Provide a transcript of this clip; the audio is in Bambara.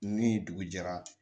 Ni dugu jɛra